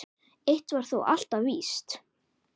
Eitt var þó alltaf víst.